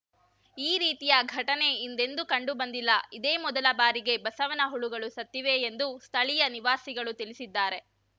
ಈ ರೀತಿಯ ಘಟನೆ ಹಿಂದೆಂದೂ ಕಂಡುಬಂದಿಲ್ಲ ಇದೇ ಮೊದಲ ಬಾರಿಗೆ ಬಸವನ ಹುಳುಗಳು ಸತ್ತಿವೆ ಎಂದು ಸ್ಥಳೀಯ ನಿವಾಸಿಗಳು ತಿಳಿಸಿದ್ದಾರೆ